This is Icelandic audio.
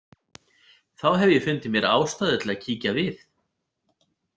Þá hef ég fundið mér ástæðu til að kíkja við.